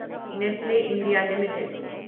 Nestle India limited